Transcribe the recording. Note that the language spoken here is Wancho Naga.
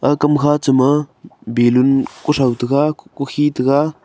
aga kamkha cha ma ballon kuthow taiga kukhen taiga.